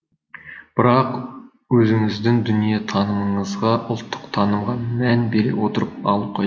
бірақ өзіңіздің дүниетанымыңызға ұлттық танымға мән бере отырып алу қажет